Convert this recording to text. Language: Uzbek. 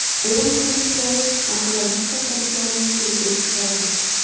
Ayrim ko‘rinishlari onkologik xastaliklarni keltirib chiqaradi.